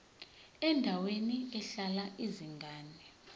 endaweni ehlala izingane